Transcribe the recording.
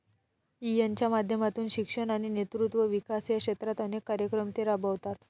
यिनच्या माध्यमातून शिक्षण आणि नेतृत्व विकास या क्षेत्रात अनेक कार्यक्रम ते राबवतात.